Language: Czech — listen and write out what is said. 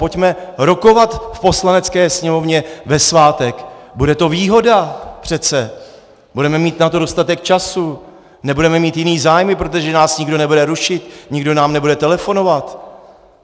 Pojďme rokovat v Poslanecké sněmovně ve svátek, bude to výhoda přece, budeme mít na to dostatek času, nebudeme mít jiné zájmy, protože nás nikdo nebude rušit, nikdo nám nebude telefonovat.